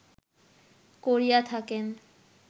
করিয়া থাকেন